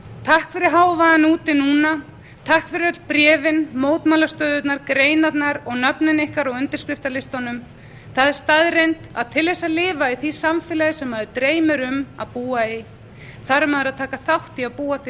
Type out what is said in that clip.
takk fyrir hávaðann úti núna takk fyrir öll bréfin mótmælastöðurnar greinarnar og nöfnin ykkar á undirskriftalistanum það er staðreynd að til þess að lifa í því samfélagi sem mann dreymir um að búa í þarf maður að taka þátt í að búa til